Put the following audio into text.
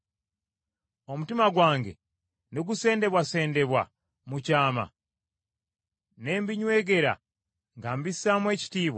omutima gwange ne gusendebwasendebwa mu kyama, ne mbinywegera nga mbisaamu ekitiibwa,